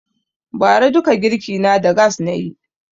Ba ra duka girki na da gass nayi